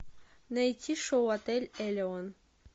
найти шоу отель элеон